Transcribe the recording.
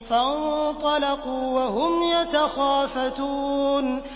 فَانطَلَقُوا وَهُمْ يَتَخَافَتُونَ